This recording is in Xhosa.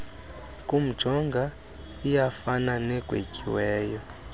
kumjonga iyafana negwetyiweyo